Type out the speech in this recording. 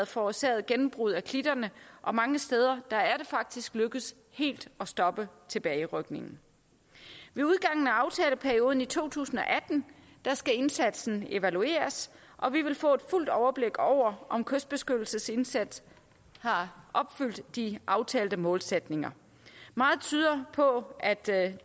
forårsaget gennembrud af klitterne og mange steder er det faktisk lykkedes helt at stoppe tilbagerykningen ved udgangen af aftaleperioden i to tusind og atten skal indsatsen evalueres og vi vil få et fuldt overblik over om kystbeskyttelsesindsatsen har opfyldt de aftalte målsætninger meget tyder på at det